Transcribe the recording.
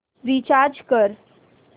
recharge कर